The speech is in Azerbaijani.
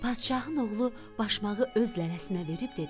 Padşahın oğlu başmağı öz lələsinə verib dedi: